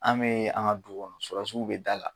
An bee an' ŋa du kɔnɔ surasiw be da la